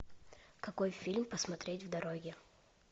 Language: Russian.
какой фильм посмотреть в дороге